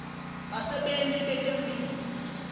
basebenti betemphilo